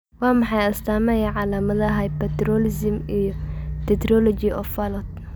Waa maxay astaamaha iyo calaamadaha hypertelorism iyo tetralogy of Fallot?